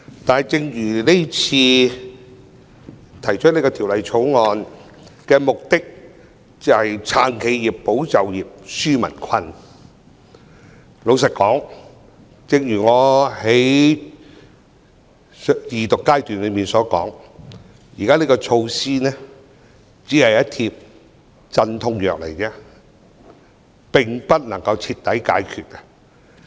但是，提出《條例草案》的目的，是要"撐企業、保就業、紓民困"，老實說，正如我在《條例草案》恢復二讀時所說，現時的措施只是一帖鎮痛藥，並不能夠徹底解決問題。